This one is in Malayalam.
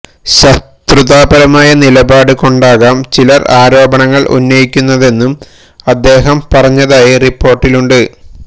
ശത്രുതാപരമായ നിലപാട് കൊണ്ടാകം ചിലര് ആരോപണങ്ങള് ഉന്നയിക്കുന്നതെന്നും അദ്ദേഹം പറഞ്ഞതായി റിപ്പോര്ട്ടിലുണ്ട്